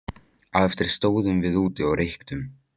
Á eftir stóðum við úti og reyktum.